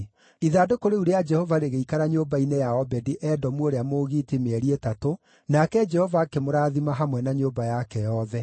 Ithandũkũ rĩu rĩa Jehova rĩgĩikara nyũmba-inĩ ya Obedi-Edomu ũrĩa Mũgiiti mĩeri ĩtatũ, nake Jehova akĩmũrathima hamwe na nyũmba yake yothe.